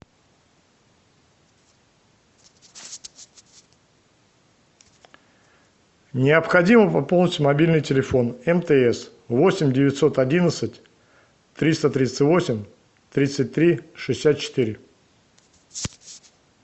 необходимо пополнить мобильный телефон мтс восемь девятьсот одиннадцать триста тридцать восемь тридцать три шестьдесят четыре